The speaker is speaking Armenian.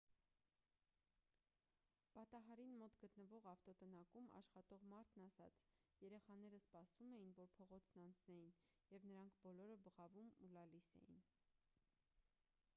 պատահարին մոտ գտնվող ավտոտնակում աշխատող մարդն ասաց.«երեխաները սպասում էին որ փողոցն անցնեին և նրանք բոլոր բղավում ու լալիս էին»։